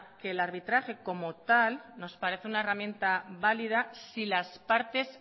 que el arbitraje como tal nos parece una herramienta válida si las partes